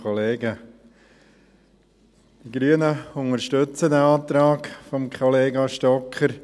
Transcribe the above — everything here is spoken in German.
Die Grünen unterstützen diesen Antrag von Kollega Stocker.